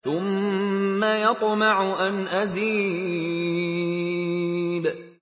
ثُمَّ يَطْمَعُ أَنْ أَزِيدَ